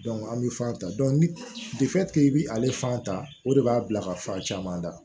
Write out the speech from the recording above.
an bɛ fan ta i bɛ ale fan ta o de b'a bila ka fan caman da